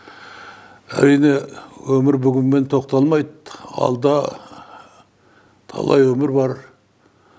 әрине өмір бүгінмен тоқталмайды алда талай өмір бар